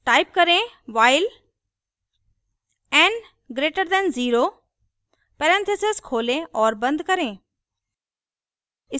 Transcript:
type करें while n greater than 0 parenthesis खोलें और बंद करें